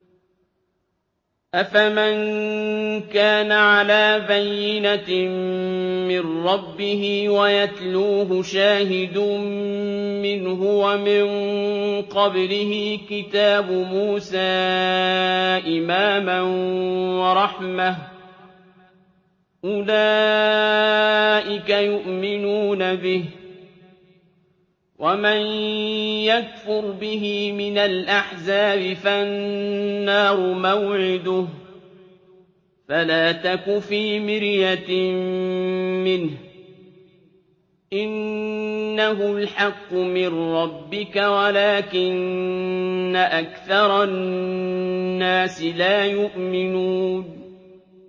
أَفَمَن كَانَ عَلَىٰ بَيِّنَةٍ مِّن رَّبِّهِ وَيَتْلُوهُ شَاهِدٌ مِّنْهُ وَمِن قَبْلِهِ كِتَابُ مُوسَىٰ إِمَامًا وَرَحْمَةً ۚ أُولَٰئِكَ يُؤْمِنُونَ بِهِ ۚ وَمَن يَكْفُرْ بِهِ مِنَ الْأَحْزَابِ فَالنَّارُ مَوْعِدُهُ ۚ فَلَا تَكُ فِي مِرْيَةٍ مِّنْهُ ۚ إِنَّهُ الْحَقُّ مِن رَّبِّكَ وَلَٰكِنَّ أَكْثَرَ النَّاسِ لَا يُؤْمِنُونَ